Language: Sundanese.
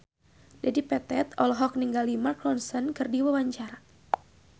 Dedi Petet olohok ningali Mark Ronson keur diwawancara